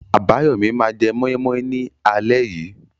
Abayomi máa jẹ moi moi ní alẹ́ yìí.